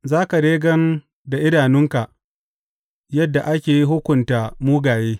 Za ka dai gan da idanunka yadda ake hukunta mugaye.